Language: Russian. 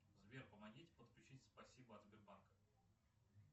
сбер помогите подключить спасибо от сбербанка